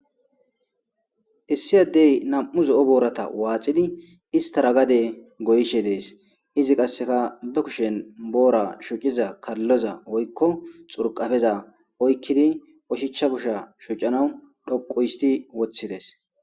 Issi addey nam'u zo'o boorata waaxidi istara gade goyishe dees izi qasseka be kushen boora shuciza kalloza oykko xurqafeza oykkidi oshicha kusha shucanaw dhoqu histi woththides.